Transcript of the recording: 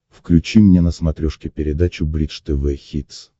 включи мне на смотрешке передачу бридж тв хитс